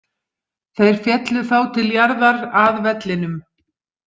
Þeir féllu þá til jarðar, að vellinum.